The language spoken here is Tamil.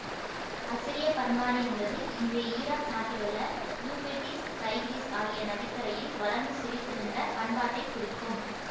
அசிரியப் பண்பாடு என்பது இன்றைய ஈராக் நாட்டிலுள்ள யூபிரட்டீஸ் தைகிரிஸ் ஆகிய நதிக்கரையில் வளர்ந்து செழித்திருந்த பண்பாட்டைக் குறிக்கும்